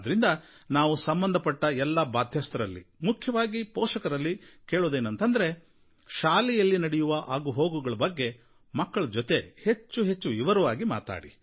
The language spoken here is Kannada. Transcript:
ಆದ್ರಿಂದ ನಾವು ಸಂಬಂಧಪಟ್ಟ ಎಲ್ಲ ಬಾಧ್ಯಸ್ಥರಲ್ಲಿ ಮುಖ್ಯವಾಗಿ ಪೋಷಕರಲ್ಲಿ ಕೇಳುವುದೇನಂದ್ರೆ ಶಾಲೆಯಲ್ಲಿ ನಡೆಯುವ ಆಗುಹೋಗುಗಳ ಬಗ್ಗೆ ಮಕ್ಕಳೊಂದಿಗೆ ಹೆಚ್ಚು ವಿವರವಾಗಿ ಮಾತಾಡಿ